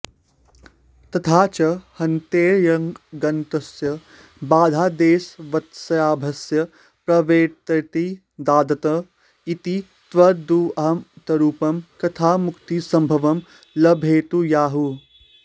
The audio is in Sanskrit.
तथा च हन्तेर्यङ्लुगन्तस्य वधादेशवत्साभ्यासस्य प्रवर्तेतेति दादत्त इति त्वदुदाह्मतरूपं कथमुक्तिसम्भवं लभेतेत्याहुः